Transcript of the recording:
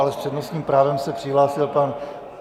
Ale s přednostním právem se přihlásil pan...